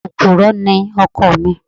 Òpùrọ́ ni ọkọ mi.